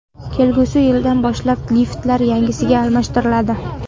Kelgusi yildan boshlab liftlar yangisiga almashtiriladi.